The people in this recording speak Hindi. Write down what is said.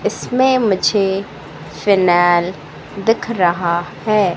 इसमें मुझे फाइनल दिख रहा है।